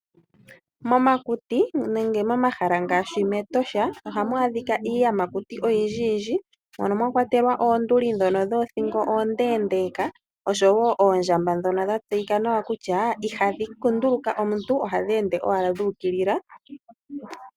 Momakuti nenge moma hala ngaashi mEtosha oha mu adhika iiyamakuti oyindji yindji mono mwa kwatelwa oonduli dhono dhoothingo ondeendeka, oshoo wo ondjamba dhono dha tseyika nawa kutya Ihadhi kunduluka omuntu oha dhi ende owala dhuukilila.